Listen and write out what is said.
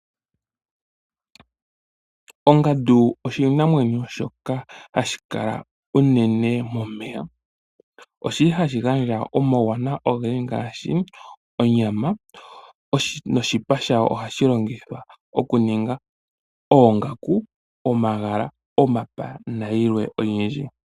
Ongandu oshinamwenyo shoka hashi kala uunene momeya oshili hashi gandja omauwana uunene ngaashi onyama noshipa shawo ohashi longithwa okuninga omapaya, oongaka, omagala nayilwe oyindji.